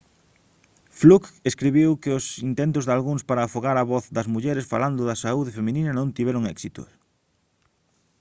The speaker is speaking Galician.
fluke escribiu que os intentos dalgúns para afogar a voz das mulleres falando da saúde feminina non tiveron éxito